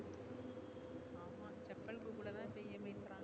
google லா இப்ப EMI தரான்